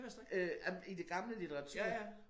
Øh ej men i det gamle litteratur